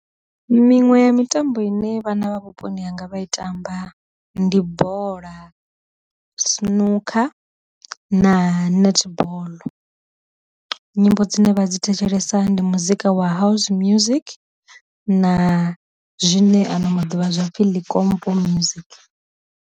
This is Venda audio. Miṅwe ya mitambo ine vhana vha vhuponi hanga vha i tamba ndi bola, sinukha, na netball. Nyimbo dzine vha dzi thetshelesa ndi muzika wa house music, na zwine ano maḓuvha zwapfhi ḽikompo music.